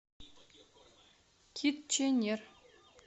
китченер